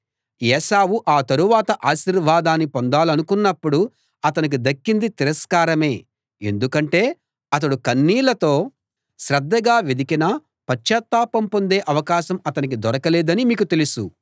ఏశావు ఆ తరవాత ఆశీర్వాదాన్ని పొందాలనుకున్నప్పుడు అతనికి దక్కింది తిరస్కారమే ఎందుకంటే అతడు కన్నీళ్ళతో శ్రద్ధగా వెదికినా పశ్చాత్తాపం పొందే అవకాశం అతనికి దొరకలేదని మీకు తెలుసు